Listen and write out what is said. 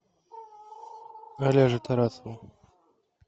олеже тарасову